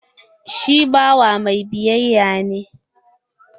Shi bawa mai biyayya ne.